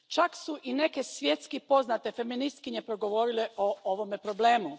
Čak su i neke svjetski poznate feministkinje progovorile o ovome problemu.